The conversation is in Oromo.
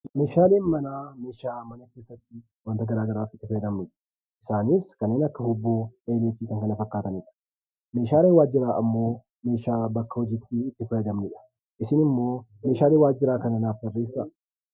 Meeshaaleen manaa meeshaa mana keessatti wanta garaagaraaf itti fayyadamnuu dha. Isaanis kanneen akka huubboo, eelee fi kan kana fakkaatani dha. Meeshaaleen waajjiraa ammoo meeshaa bakka hojiitti itti fayyadamnuu dha. Isin immoo meeshaalee waajjiraa kana naaf tarreessaa!